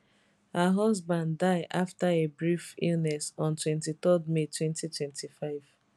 her husband die afta a brief illness on 23 may 2025